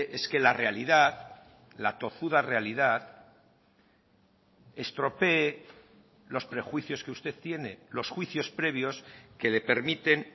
es que la realidad la tozuda realidad estropee los prejuicios que usted tiene los juicios previos que le permiten